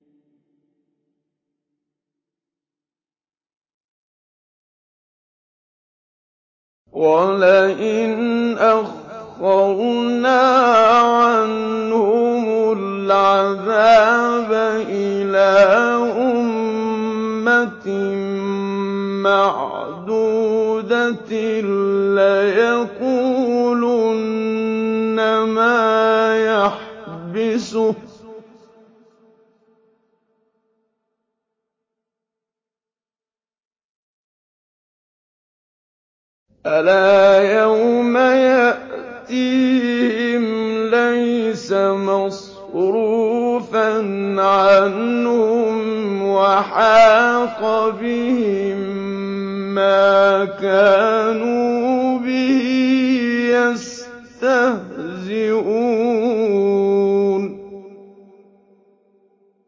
وَلَئِنْ أَخَّرْنَا عَنْهُمُ الْعَذَابَ إِلَىٰ أُمَّةٍ مَّعْدُودَةٍ لَّيَقُولُنَّ مَا يَحْبِسُهُ ۗ أَلَا يَوْمَ يَأْتِيهِمْ لَيْسَ مَصْرُوفًا عَنْهُمْ وَحَاقَ بِهِم مَّا كَانُوا بِهِ يَسْتَهْزِئُونَ